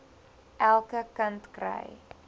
elke kind kry